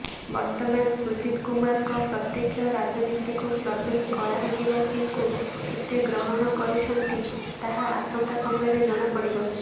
ବର୍ତ୍ତମାନ ସୁଜିତ କୁମାରଙ୍କ ପ୍ରତ୍ୟେକ୍ଷ ରାଜନୀତିକୁ ପ୍ରବେଶ କଳାହାଣ୍ଡିବାସୀଙ୍କୁ କେତେ ଗ୍ରହଣ କରୁଛନ୍ତି ତାହା ଆସନ୍ତା ସମୟରେ ଜଣାପଡିବ